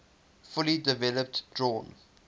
fully developed drawn